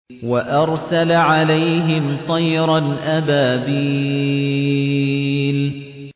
وَأَرْسَلَ عَلَيْهِمْ طَيْرًا أَبَابِيلَ